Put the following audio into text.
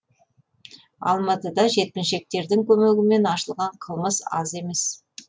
алматыда жеткіншектердің көмегімен ашылған қылмыс аз емес